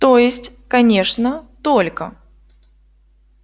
то есть конечно только